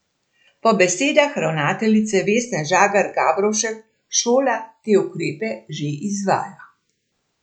Po besedah ravnateljice Vesne Žagar Gabrovšek šola te ukrepe že izvaja.